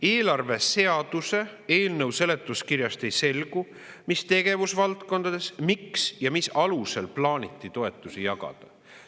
Eelarveseaduse eelnõu seletuskirjast ei selgu, mis tegevusvaldkondades, miks ja mis alusel plaaniti toetusi jagada.